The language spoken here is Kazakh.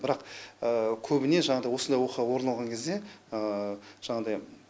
бірақ көбіне жаңадай осындай оқиға орын алған кезде жаңадай